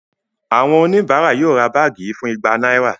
Àwọn oníbàárà yóò ra báàgì yìí fún igba náírà